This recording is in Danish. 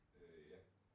Øh ja